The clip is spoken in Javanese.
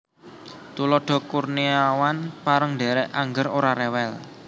Tuladha Kurniawan pareng ndhèrèk angger ora rewel